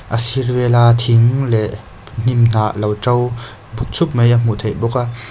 a sir vel a thing leh hnimhnah lo ṭo buk chhup mai a hmuh theih bawk a.